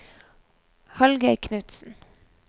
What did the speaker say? Hallgeir Knutsen